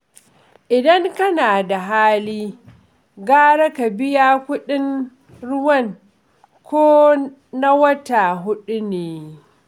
Idan kana da hali, gara ka biya kuɗin ruwan ko na wata huɗu ne